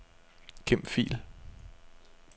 Gem fil.